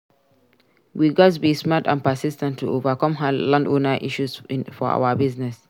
We gats be smart and persis ten t to overcome landowner issues for our business.